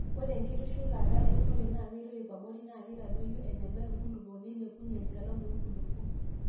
ore enkitushulate eunore naa keitoip abori naa keitadoyio eneba inkulupuok neilepunye enchalan oo nkulupuok